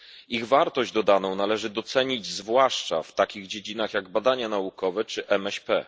Ich wartość dodaną należy docenić zwłaszcza w takich dziedzinach jak badania naukowe czy MŚP.